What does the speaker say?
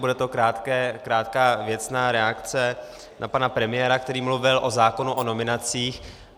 Bude to krátká věcná reakce na pana premiéra, který mluvil o zákonu o nominacích.